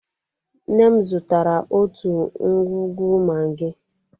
Nne m zụtara otu ngwugwu magi.